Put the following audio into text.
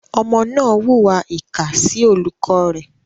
Ọmọ náà hùwà ìkà sí olùkọ́ rẹ̀.